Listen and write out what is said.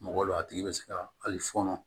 Mɔgɔ dɔ a tigi bɛ se ka hali fɔnɔ